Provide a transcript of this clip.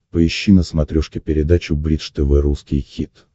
поищи на смотрешке передачу бридж тв русский хит